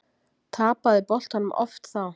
Tapaði boltanum oft þá.